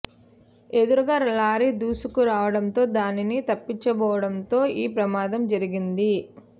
ఎదురుగా లారీ దూసుకు రావడంతో దానిని తప్పించబోవడంతో ఈ ప్రమాదం జరిగింది